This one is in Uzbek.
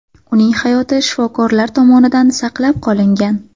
Uning hayoti shifokorlar tomonidan saqlab qolingan.